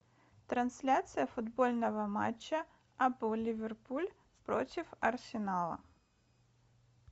трансляция футбольного матча апл ливерпуль против арсенала